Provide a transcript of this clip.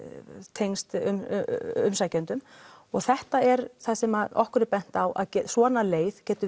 tengst umsækjendum og þetta er það sem okkur er bent á svona leið geti